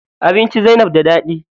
Abinci Zainab da daɗi.